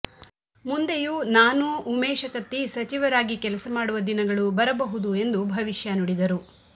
ಮುಂದೆಯು ನಾನು ಉಮೇಶ ಕತ್ತಿ ಸಚಿವರಾಗಿ ಕೆಲಸ ಮಾಡುವ ದಿನಗಳು ಬರಬಹುದು ಎಂದು ಭವಿಷ್ಯ ನುಡಿದರು